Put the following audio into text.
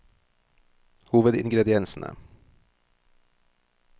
hovedingrediensene